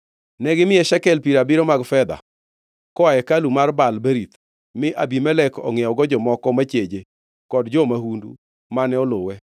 Negimiye shekel piero abiriyo mag fedha koa e hekalu mar Baal-Berith, mi Abimelek ongʼiewogo jomoko macheje kod jo-mahundu mane oluwe.